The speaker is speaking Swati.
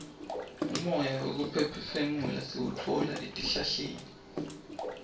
umoya wekuphefumula siwutfola etihlahleni